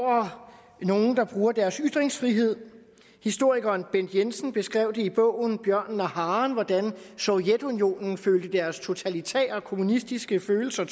over nogen der bruger deres ytringsfrihed historikeren bent jensen beskrev i bogen bjørnen og haren hvordan de i sovjetunionen følte at deres totalitære kommunistiske følelser